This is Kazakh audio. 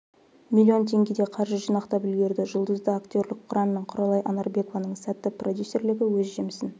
млн теңгедей қаржы жинақтап үлгерді жұлызды актерлік құрам мен құралай анарбекованың сәтті продюсерлігі өз жемісін